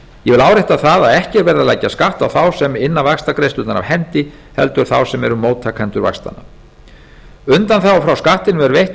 ég vil árétta það að ekki er verið að leggja skatt á þá sem inna vaxtagreiðslurnar af hendi heldur þá sem eru móttakendur vaxtanna undanþága frá skattinum er veitt